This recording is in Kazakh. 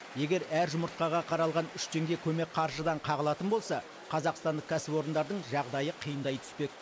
егер әр жұмыртқаға қаралған үш теңге көмек қаржыдан қағылатын болса қазақстандық кәсіпорындардың жағдайы қиындай түспек